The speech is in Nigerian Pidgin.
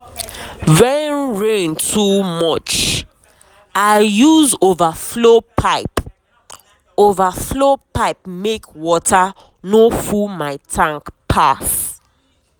when rain too much i use overflow pipe overflow pipe make water no full my tank pass.